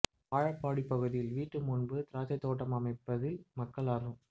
வாழப்பாடி பகுதியில் வீட்டு முன்பு திராட்சை தோட்டம் அமைப்பதில் மக்கள் ஆா்வம்